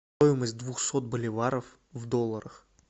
стоимость двухсот боливаров в долларах